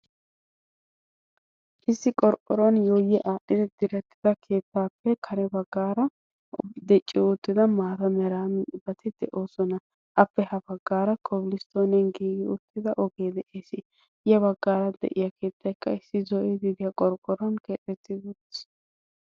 issi qorqqoruwan diretti uttida keettaappe ya bagaara dici utida maata mera mitati de'oosona, appe ha bagaara koblistooniyan giigi uttida ogee de'ees. ya bagaara de'iya keettaykka keexetidi utiis.